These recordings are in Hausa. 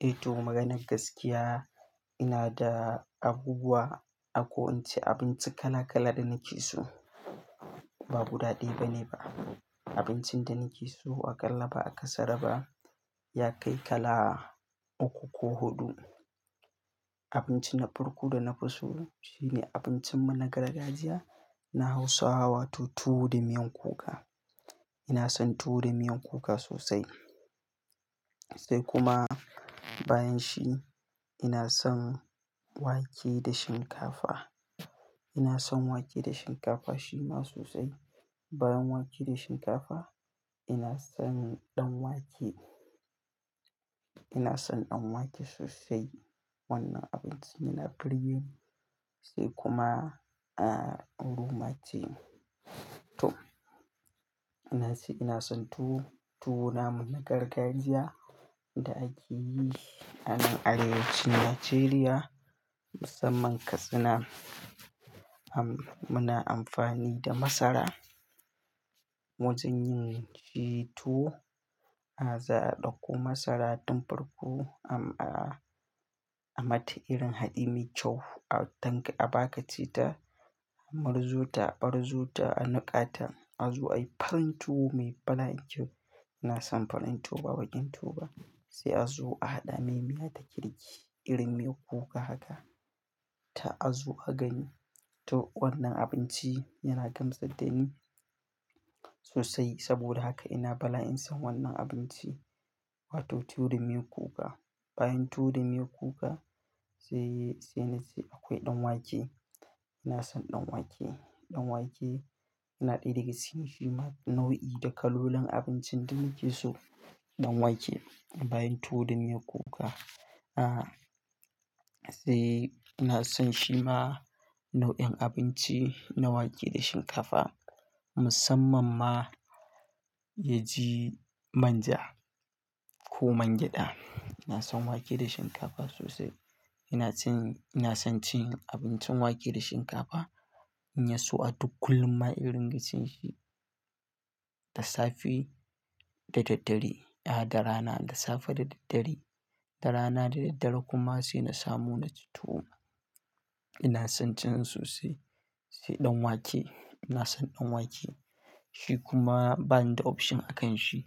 Eh to maganar gaskiya, ina da abubuwa ako ince abinci kala kala da nake so. Ba guda ɗaya bane ba. Abincin da nake so aƙalla ba a ƙasara ba, ya kai kala uku ko huɗu. Abinci na farko da na fi so shine abincinmu na gargajiya na Hausawa wato tuwo da miyan kuka. Ina son tuwo da miyan kuka sosai. Sai kuma bayan shi ina son wake da shinkafa. Ina son wake da shinkafa shima sosai. Bayan wake da shinkafa ina son ɗan wake. Ina son ɗan wake sosai. Wannan abinci yana burgeni sai kuma, ah, rumatie. To, na ce ina son tuwo. Tuwo na mu na gargajiya da ake yi a nan arewacin Najeriya musamman Katsina. Am, muna amfani da masara. Wajen yin shi tuwo, za a ɗauko masara tun farko am, a, a mata irin haɗi mai kyau a tanki, a baƙa ci ta, a murzu ta, a ɓarzu ta, a nuƙa ta, a zuwa a yi farin tuwo mai bala'i kyau. Ina son farin tuwo ba baƙin tuwo ba. Sai a zo a haɗa mai miya ta kirki irin miyar kuka haka. Ta a zu a gani. To wannan abinci yana gamsar da ni sosai saboda haka ina bala'in son wannan abinci wato tuwo da miyan kuka. Bayan tuwo da miyan kuka sai, sai na ce akwai ɗan wake. Ina son ɗan wake. Ɗan wake yana ɗaya daga cikin shima nau'i da kalolin abincin da nake so. Ɗan wake bayan tuwo da miyan kuka. Ah, sai ina son shima nau'in abinci na wake da shinkafa musamman ma ya ji manja ko man gyada. Ina son wake da shinkafa sosai. Ina cin, ina son cin abincin wake da shinkafa in yi so a duk kullum ma irin gashin shi. Da safe da daddare, ah, da rana, da safe da daddare, da rana da daddare kuma sai na samu na ci tuwo. Ina son cin sosai. Sai ɗan wake ina son ɗan wake. Shi kuma bani da option a kan shi.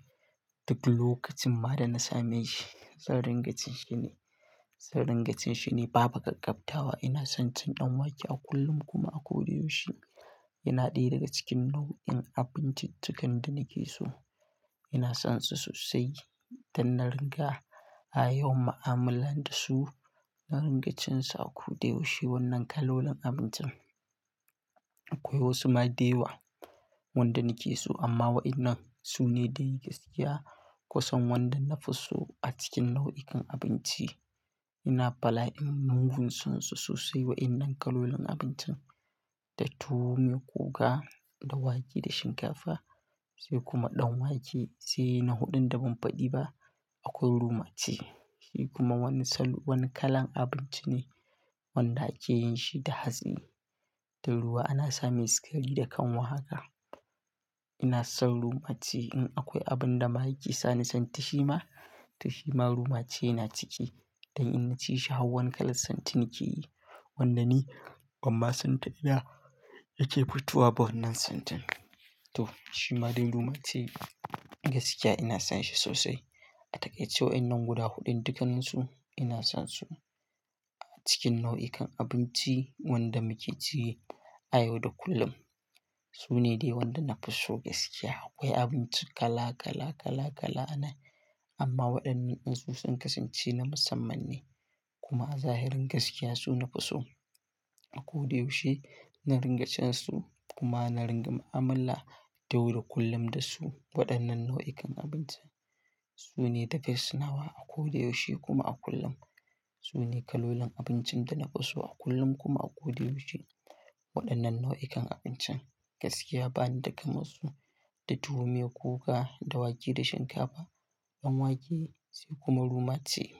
Duk lokacin ma da na same shi, zan ringa cin shi ne. Zan ringa cin shi ne babu ƙaƙƙabtawa. Ina son cin ɗan wake a kullum kuma a kodayaushe. Yana ɗaya daga cikin nau'in abinciccikan da nake so. Ina son shi sosai don na ringa a yawan ma'amala da su. Na ringa cin sa a kodayaushe wannan kalolin abincin. Akwai wasu ma dayawa wanda nake so amma wa'annan su ne dai gaskiya kusan wanda na fi so a cikin nau'ikan abinci. Ina bala'in mugun sansu sosai wa'innan kalolin abincin, da tuwo miyar kuka, da wake da shinkafa sai kuma ɗan wake sai na huɗun da ban faɗi ba akwai rumatie. Shi kuma wani salu-- wani kalan abinci ne wanda ake yin shi da hatsi. Da ruwa ana same sikari da kanwa haka. Ina son rumatie. In akwai abun da ma yake sa ni santi shi ma, to shi ma rumatie yana ciki. Don in ci shi har wani kalan santi nikeyi wanda ni amma santa yana, yake fitowa ba wannan santin. To shi ma dai rumatie gaskiya ina son shi sosai. A takaice wa'innan guda huɗun dukkanan su ina son su a cikin nau'ikan abinci wanda muke ciyi a yau da kullum. Su ne dai wanda na fi so gaskiya. Akwai abinci kala kala kala kala anan amma waɗannan in sun kasance na musamman ne kuma zahirin gaskiya su na fi so a kodayaushe. Na ringa cin su kuma na ringa ma'amala ta yau da kullum da su. Waɗannan nau'ikan abinci su ne da the best nawa a kodayaushe kuma a kullum. Su ne kalolin abincin da na fi so a kullum kuma a kodayaushe. Waɗannan nau'ikan abincin gaskiya bani da kama su da tuwo miyar kuka, da wake da shinkafa, ɗan wake sai kuma rumatie.